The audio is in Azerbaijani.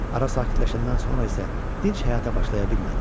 Ara sakitləşəndən sonra isə dinc həyata başlaya bilmədim.